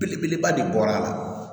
Belebeleba de bɔra a la